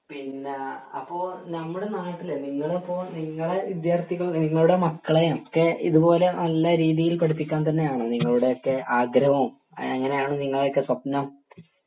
പിന്നെ അപ്പൊ നമ്മുടെ നാട്ടില് നിങ്ങളിപ്പൊ നിങ്ങളെ വിദ്യാർത്ഥികൾ നിങ്ങളുടെ മക്കളേം ഒക്കെ ഇതുപോലെ നല്ല രീതിയിൽ പഠിപ്പിക്കാൻ തന്നെയാണൊ നിങ്ങളുടെ ഒക്കെ ആഗ്രഹോം എങ്ങിനെയാണ് നിങ്ങളെയൊക്കെ സ്വപ്‌നം